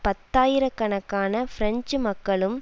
பத்தாயிர கணக்கான பிரெஞ்சு மக்களும்